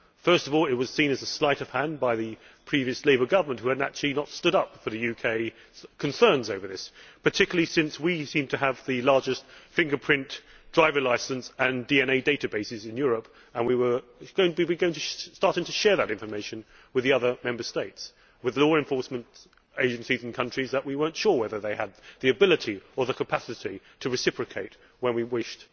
First of all, it was seen as a sleight of hand by the previous Labour Government, which had not stood up for the UK concerns over this, particularly since we seemed to have the largest fingerprint, driver licence and DNA databases in Europe and we were going to start sharing that information with the other Member States, and with law enforcement agencies in countries where we were not sure that they had the ability or the capacity to reciprocate when we wished.